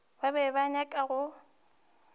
ba be ba nyaka go